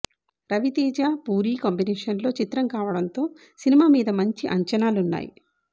రివి తేజ పూరి కాంబినేషన్లో చిత్రం కావడం తో సినిమా మీద మంచి అంచానాలున్నాయి